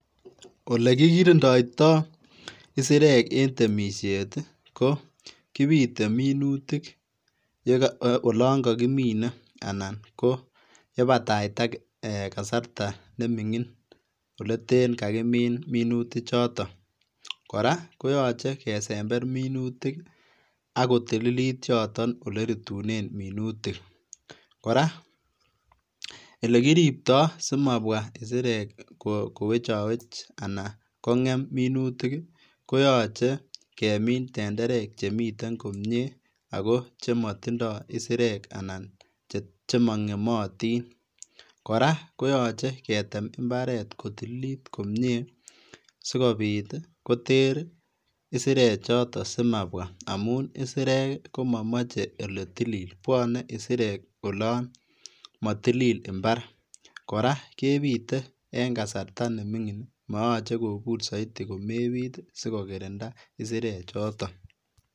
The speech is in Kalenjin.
Olekigirindoito isirek en temisiet ii ko kipite minutik olon kokimine minutik ana koyepataita kasarta neming'in oleten kakimin minutichoto, kora koyoche kesember minutik akotililit yoto olerutunen minutik, Kora elekiriptoo simabwa isirek kowechowech anan kong'em minutik koyoche kemin tenderek chemiten komie ako chemotindo isirek anan chemong'emotin kora koyoche ketem mbaret kotililit komie sikopit koter isirechoto simabwa amun isirek komomoche oletilil bwonei isirek olon motilil mbar kora kepite en kasarta neming'in mooche kobur soit komepit sikokirindaa isirechoto.